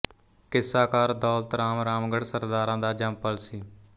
ਕਿੱਸਾਕਾਰ ਦੌਲਤ ਰਾਮ ਰਾਮਗੜ੍ਹ ਸਰਦਾਰਾਂ ਦਾ ਜੰਮਪਲ ਸੀ